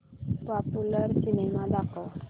popular cinema दाखव